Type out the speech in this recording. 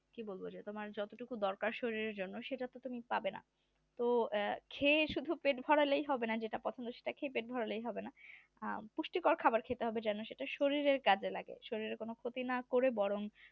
কি বলবো যে যতটুকু শরীরে দরকার তোমার সেটা তো তুমি পাবে না তো এক খেয়ে শুধু পেট ভরালেই হবে না যেটা পুষ্টিকর খাবার খেতে হবে জানো সেটা শরীরের কাজে লাগে শরীরের কোন ক্ষতি না করেও বরণ